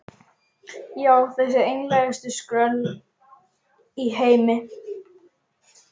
Já, þessi einlægustu skröll í heimi.